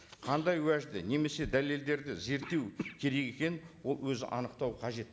қандай уәжді немесе дәлелдерді зерттеу керек екенін ол өзі анықтауы қажет